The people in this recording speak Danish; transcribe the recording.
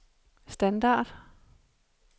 standard